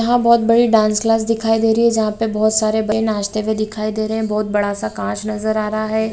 यहाँ बहुत बड़ी डांस क्लास दिखाई दे रही है जहाँ पे बहुत सारे नाचते हुए दिखाई दे रहे हैं | बहुत बड़ा सा काँच नजर आ रहा है ।